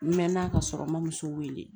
N mɛn na ka sɔrɔ n ma muso wele